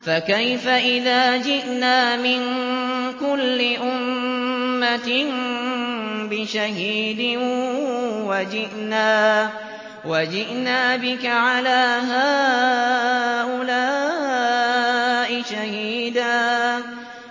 فَكَيْفَ إِذَا جِئْنَا مِن كُلِّ أُمَّةٍ بِشَهِيدٍ وَجِئْنَا بِكَ عَلَىٰ هَٰؤُلَاءِ شَهِيدًا